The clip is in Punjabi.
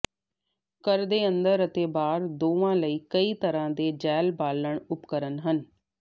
ਘਰ ਦੇ ਅੰਦਰ ਅਤੇ ਬਾਹਰ ਦੋਹਾਂ ਲਈ ਕਈ ਤਰ੍ਹਾਂ ਦੇ ਜੈੱਲ ਬਾਲਣ ਉਪਕਰਣ ਹਨ